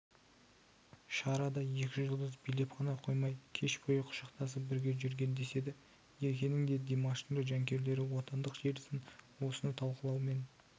шарада екі жұлдыз билеп қана қоймай кеш бойы құшақтасып бірге жүрген деседі еркенің де димаштың да жанкүйерлері отандық желісін осыны талқылаумен